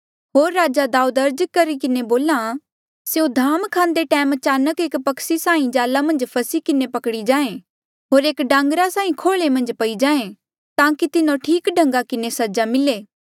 होर राजा दाऊद अर्ज करी किन्हें बोल्हा स्यों धाम खांदे टैम अचानक एक पक्षी साहीं जाला मन्झ फसी किन्हें पकड़ी जाएं होर एक डांगरे साहीं खोले मन्झ पई जाएं ताकि तिन्हो ठीक ढंगा किन्हें सजा मिले